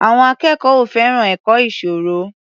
Àwọn akẹ́kọ̀ọ́ ò fẹ́ràn ẹ̀kọ́ ìṣirò.